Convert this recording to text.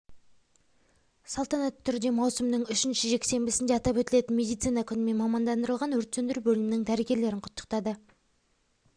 салтанатты түрде маусымның үшінші жексенбісінде атап өтілетін медицина күнімен мамандандырылған өрт сөндіру бөлімінің дәрігерлерін құттықтады